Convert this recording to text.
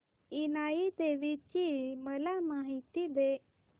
इनाई देवीची मला माहिती दे